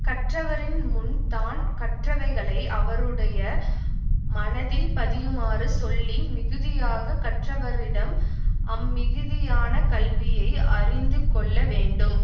கற்றவரின் முன் தான் கற்றவைகளை அவருடைய மனதில் பதியுமாறு சொல்லி மிகுதியாக கற்றவரிடம் அம்மிகுதியான கல்வியை அறிந்து கொள்ள வேண்டும்